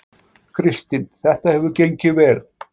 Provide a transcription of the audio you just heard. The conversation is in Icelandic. Kristinn: Þetta hefur gengið vel?